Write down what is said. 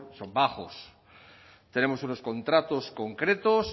son bajos tenemos unos contratos concretos